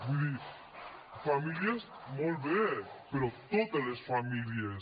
vull dir famílies molt bé però totes les famílies